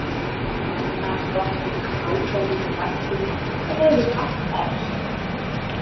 Gáfurnar, þokkinn, ákveðnin, kjarkurinn, þetta hefur allt erfst.